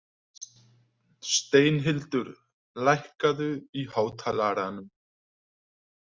Steinhildur, lækkaðu í hátalaranum.